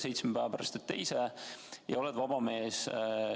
Seitsme päeva pärast annad teise proovi ja oled vaba mees.